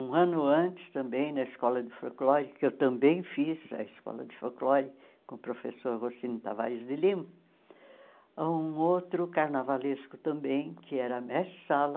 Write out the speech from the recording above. Um ano antes, também, na Escola de Folclore, que eu também fiz a Escola de Folclore com o professor Rocino Tavares de Lima, um outro carnavalesco também, que era Mestre Sala,